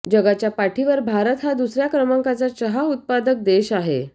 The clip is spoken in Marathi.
जगाच्या पाठीवर भारत हा दुसर्या क्रमांकाचा चहा उत्पादक देश आहे